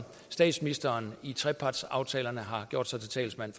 statsministeren i trepartsaftalerne har gjort sig til talsmand